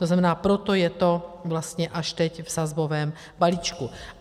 To znamená, proto je to vlastně až teď v sazbovém balíčku.